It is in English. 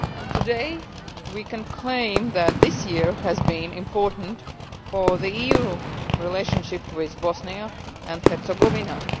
Today, we can claim that this year has been important for the EU relationship with Bosnia and Herzegovina.